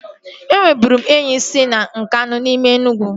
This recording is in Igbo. E nweburu m enyi si Nkanu n'ime Enugwu